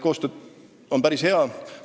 Koostöö on päris hea.